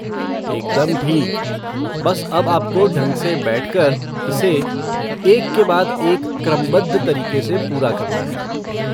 एकदम ठीक! बस अब आपको ढंग से बैठकर, इसे, एक के बाद एक क्रमबद्ध तरीक़े से पूरा करना है।